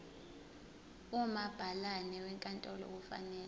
umabhalane wenkantolo kufanele